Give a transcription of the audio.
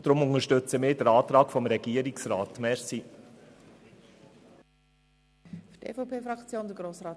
Deswegen unterstützen wir den Antrag des Regierungsrats.